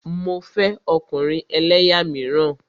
Mo fẹ́ ọkùnrin ẹlẹ́yà míràn.